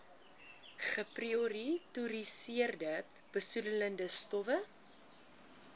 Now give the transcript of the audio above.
geprioritoriseerde besoedelende stowwe